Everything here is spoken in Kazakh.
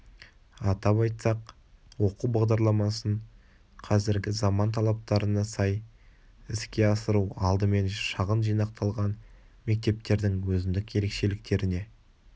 атап айтсақ оқу бағдарламасын қазіргі заман талаптарына сай іске асыру алдымен шағын жинақталған мектептердің өзіндік ерекшеліктеріне